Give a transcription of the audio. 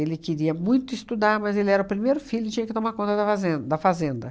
queria muito estudar, mas ele era o primeiro filho e tinha que tomar conta da fazen da fazenda.